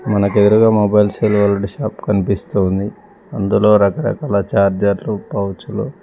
మనకు ఎదురుగా mobiles silvered shop కనిపిస్తూ ఉంది. అందులో రకరకాల చార్జర్లు పౌచులు --.